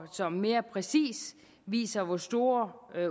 som mere præcist viser hvor store